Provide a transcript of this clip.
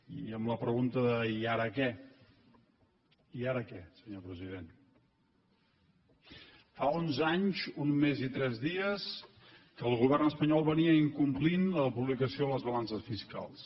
i amb la pregunta de i ara què i ara què senyor president fa onze anys un mes i tres dies que el govern espanyol incomplia la publicació de les balances fiscals